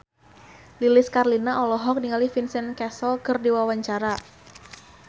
Lilis Karlina olohok ningali Vincent Cassel keur diwawancara